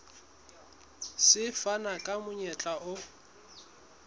se fana ka monyetla o